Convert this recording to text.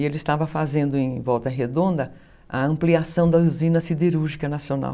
E ele estava fazendo em Volta Redonda a ampliação da usina siderúrgica nacional.